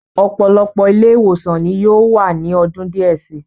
Ọ̀pọ̀lọpọ̀ ilé-ìwòsàn ni yóò wà ní ọdún díẹ̀ si.